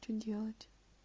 что делать